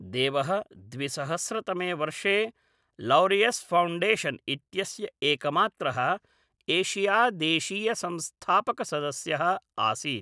देवः द्विसहस्रतमे वर्षे लौरियस् फ़ौण्डेशन् इत्यस्य एकमात्रः एशियादेशीयसंस्थापकसदस्यः आसीत्।